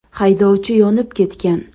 Haydovchi yonib ketgan.